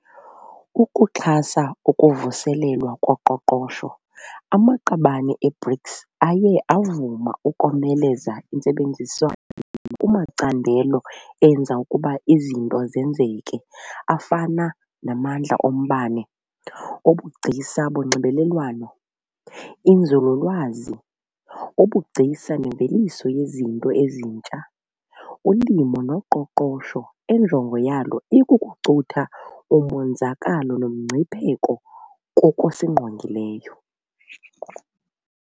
Ukuxhasa ukuvuselelwa koqoqosho, amaqabane e-BRICS aye avuma ukomeleza intsebenziswano kumacandelo enza ukuba izinto zenzeke afana namandla ombane, ubugcisa bonxibelelwano, inzululwazi, ubugcisa nemveliso yezinto ezintsha, ulimo noqoqosho enjongo yalo ikukucutha umonzakalo nomgcipheko kokusingqongileyo.